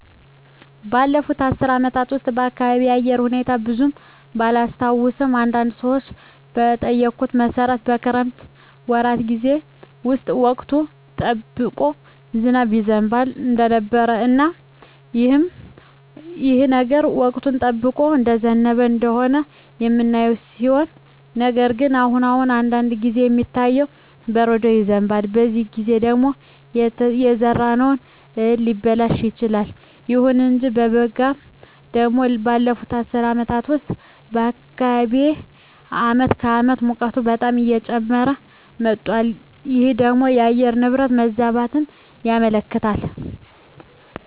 ባለፉት አስር አመታት ውስጥ የአካባቢየ የአየር ሁኔታ ብዙም ባላስታውሰውም አንዳንድ ሰዎችን በጠየኩት መሠረት የክረምት ወራት ጌዜ ውስጥ ወቅቱን ጠብቆ ዝናብ ይዘንብ እንደነበረ እና አሁንም ይህ ነገር ወቅቱን ጠብቆ እየዘነበ እንደሆነ የምናየው ሲሆን ነገር ግን አሁን አሁን አንዳንድ ጊዜ የሚታየው በረዶ ይዘንባል በዚህ ጊዜ ደግሞ የተዘራው እህል ሊበላሽ ይችላል። ይሁን እንጂ በበጋው ደግሞ ባለፋት አስር አመታት ውስጥ በአካባቢየ አመት ከአመት ሙቀቱ በጣም እየጨመረ መጧል ይህ ደግሞ የአየር ንብረት መዛባትን ያመለክታል